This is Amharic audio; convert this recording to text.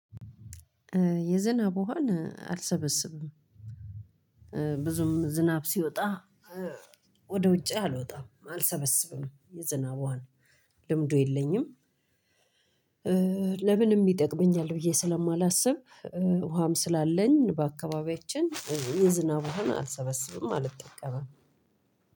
የዝናብ ውሃን አልሰበስብም። ብዙም ዝናብ ሲወጣ ወደ ውጭ አልወጣም አልሰበስብም። የዝናብ ውሃን ልምዱ የለኝም። ለምንም ይጠቅመኛል ብዬ ስለማላስብ ውሃም ስላለን በአካባቢያችን የዝናብ ውሃን አልሰበሰብም አልጠቀምም።